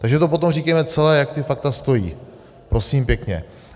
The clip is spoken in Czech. Takže to potom říkejme celé, jak ta fakta stojí, prosím pěkně.